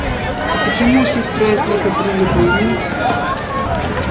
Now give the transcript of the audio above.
и почему ушли с праздника привидений